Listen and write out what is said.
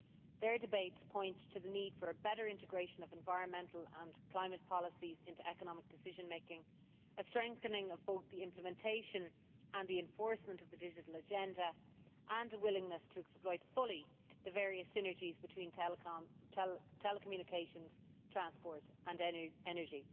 Their debates point to the need for a better integration of environmental and climate policies into economic decision making, a strengthening of both the implementation and enforcement of the digital agenda and a willingness to exploit fully the various synergies between telecommunications, transport and energy.